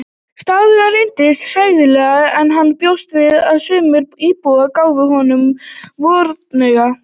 Staðurinn reyndist hræðilegri en hann bjóst við og sumir íbúarnir gáfu honum hornauga.